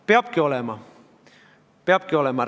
Peabki vastu olema, peabki olema.